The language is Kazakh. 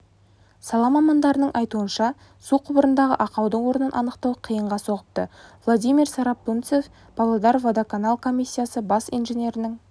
сала мамандарының айтуынша су құбырындағы ақаудың орнын анықтау қиынға соғыпты владимир сарапульцев павлодар-водоканал компаниясы бас инженерінің